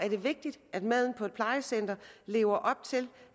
vigtigt at maden på et plejecenter lever op til